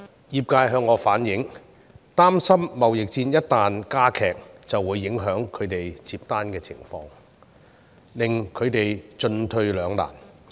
業界向我反映，擔憂貿易戰一旦加劇，會影響他們承接訂單的情況，令他們進退兩難。